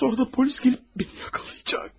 Sonra da polis gəlib məni yaxalayacaq.